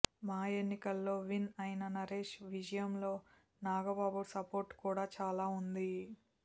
మా ఎన్నికల్లో విన్ అయిన నరేష్ విజయంలో నాగబాబు సపోర్ట్ కూడా చాలా ఉంది